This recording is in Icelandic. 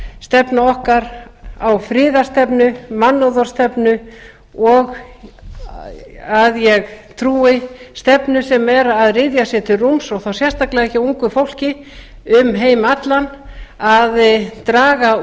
stefna okkar á friðarstefnu mannúðarstefnu og að ég trúi stefnu sem er að ryðja sér til rúms og þá sérstaklega hjá ungu fólki um heim allan að draga